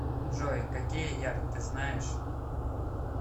джой какие ярд ты знаешь